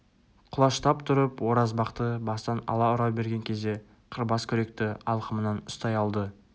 құлаштап тұрып оразбақты бастан ала ұра берген кезде қырбас күректі алқымынан ұстай алды